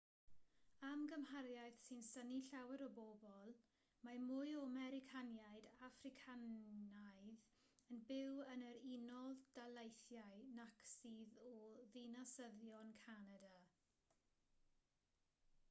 am gymhariaeth sy'n synnu llawer o bobl mae mwy o americaniaid affricanaidd yn byw yn yr unol daleitihiau nac sydd o ddinasyddion canada